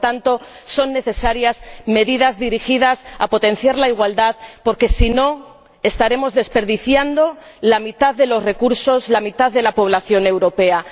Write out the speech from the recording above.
Por lo tanto, son necesarias medidas dirigidas a potenciar la igualdad porque, en caso contrario, estaremos desperdiciando la mitad de los recursos, la mitad de la población europea.